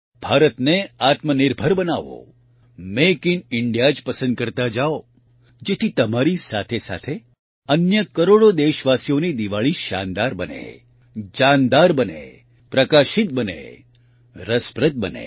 ભારતને આત્મનિર્ભર બનાવો મેક ઇન ઇન્ડિયા જ પસંદ કરતા જાવ જેથી તમારી સાથે સાથે અન્ય કરોડો દેશવાસીઓની દિવાળી શાનદાર બને જાનદાર બને પ્રકાશિત બને રસપ્રદ બને